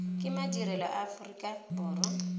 ke madirelo a aforika borwa